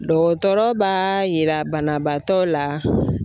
Dɔgɔtɔrɔ b'a yira banabaatɔ la.